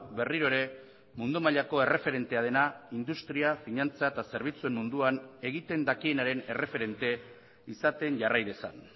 berriro ere mundu mailako erreferentea dena industria finantza eta zerbitzuen munduan egiten dakienaren erreferente izaten jarrai dezan